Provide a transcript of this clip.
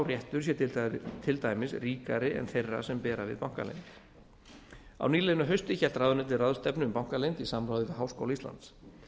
réttur sé til dæmis ríkari en þeirra sem bera við bankaleynd á nýliðnu hausti hélt ráðuneytið ráðstefnu um bankaleynd í samráði við háskóla íslands